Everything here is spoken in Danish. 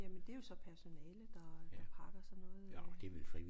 Jamen det er jo så personalet der der pakker sådan noget øh